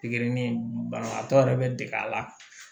Pikiri banabaatɔ yɛrɛ bɛ dege a la